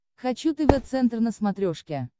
хочу тв центр на смотрешке